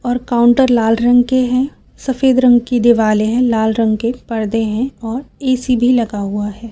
और काउंटर लाल रंग के हैं सफेद रंग की दीवालें हैं लाल रंग के पर्दे हैं और ऐ_सी भी लगा हुआ है।